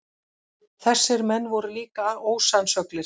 Þessir menn voru líka ósannsöglir.